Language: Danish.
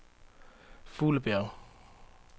Fuglebjerg